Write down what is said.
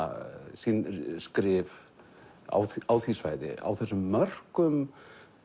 sín skrif á á því svæði á þessum mörkum